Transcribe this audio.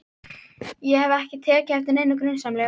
Ég hef ekki tekið eftir neinu grunsamlegu.